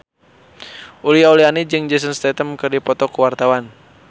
Uli Auliani jeung Jason Statham keur dipoto ku wartawan